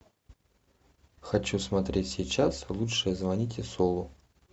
хочу смотреть сейчас лучше звоните солу